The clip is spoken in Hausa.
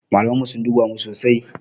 Malaman mu sun duba mu sosai.